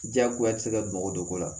Jagoya ti se ka bɔgɔ don ko la